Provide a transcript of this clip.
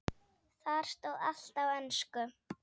Þar stóð allt á ensku.